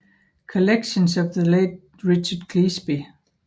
Collections of the Late Richard Cleasby